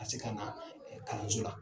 Ka se ka na kalanso la.